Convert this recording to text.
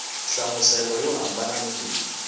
nhlamuselo yo hambana ni leyi